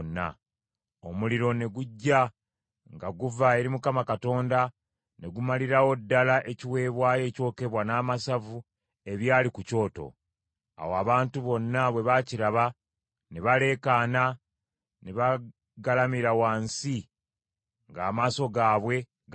Omuliro ne gujja nga guva eri Mukama Katonda ne gumalirawo ddala ekiweebwayo ekyokebwa n’amasavu ebyali ku kyoto. Awo abantu bonna bwe baakiraba ne baleekaana ne bagalamira wansi ng’amaaso gaabwe gali ku ttaka.